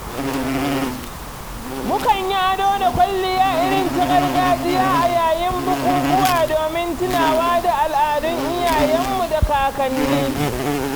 Mu kan yi ado da kwalliya irinta gargajiya a yayin bukukuwa domin tunawa da al'adun iyayen mu da kakanni